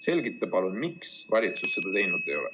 Selgita palun, miks valitsus seda teinud ei ole.